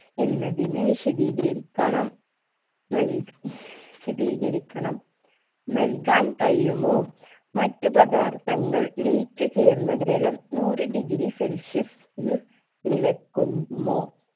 എന്നതിന് വിശദീകരിക്കണം നല്ക്‌ വിശദീകരിക്കണം നൽകാൻ കഴിയുമോ മറ്റ് പദാർത്ഥങ്ങൾ ലയിച്ചു ചേർന്ന ജലം നൂറ് degree celsius ൽ തിളക്കു മോ